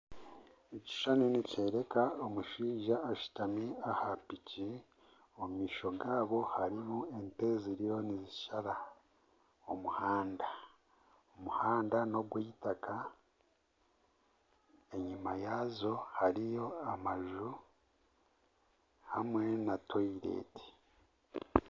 Ekishushani nikyoreka omushaija ashutami aha piki, omu maisho gaabo hariyo ente ziriyo nizishara omuhanda, omuhanda n'ogwitaka, enyima yaazo hariyo amaju hamwe na toyileti